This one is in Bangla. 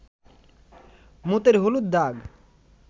মুতের হলুদ দাগ